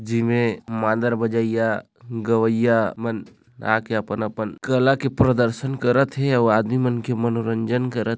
--जेमे मादर बजाइया गवैयया मन आ के अपन-अपन कला के प्रदर्शन करत हे अऊ आदमी मन के मनोरंजन करत--